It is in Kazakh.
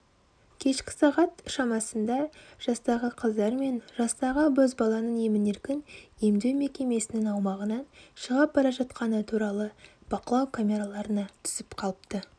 кешкі сағат шамасында жастағы қыздар мен жастағы бозбаланың емін-еркін емдеу мекемесінің аумағынан шығып бара жатқаны бақылау камераларына түсіп қалыпты